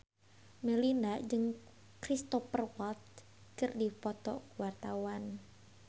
Melinda jeung Cristhoper Waltz keur dipoto ku wartawan